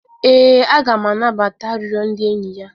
e, a ga m anabata arịrịọ ndị enyi ya.